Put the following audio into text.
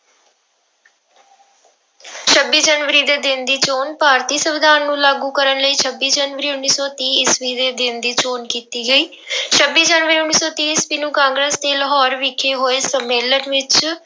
ਛੱਬੀ ਜਨਵਰੀ ਦੇ ਦਿਨ ਦੀ ਚੌਣ, ਭਾਰਤੀ ਸੰਵਿਧਾਨ ਨੂੰ ਲਾਗੂ ਕਰਨ ਲਈ ਛੱਬੀ ਜਨਵਰੀ ਉੱਨੀ ਸੌ ਤੀਹ ਈਸਵੀ ਦੇ ਦਿਨ ਦੀ ਚੋਣ ਕੀਤੀ ਗਈ ਛੱਬੀ ਜਨਵਰੀ ਉੱਨੀ ਸੌ ਤੀਹ ਈਸਵੀ ਨੂੰ ਕਾਂਗਰਸ਼ ਦੇ ਲਾਹੌਰ ਵਿਖੇ ਹੋਏ ਸੰਮੇਲਨ ਵਿੱਚ